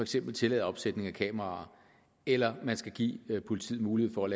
skal tillade opsætning af kameraer eller man skal give politiet mulighed for at